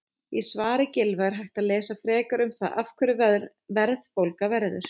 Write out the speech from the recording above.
Í svari Gylfa er hægt að lesa frekar um það af hverju verðbólga verður.